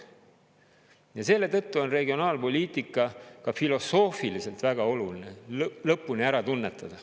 Ja selle tõttu on regionaalpoliitika ka filosoofiliselt väga oluline lõpuni ära tunnetada.